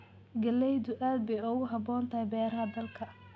Galleydu aad bay ugu habboon tahay beeraha dalka.